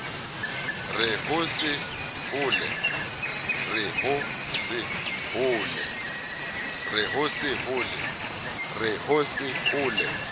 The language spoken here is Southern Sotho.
re ho se ho le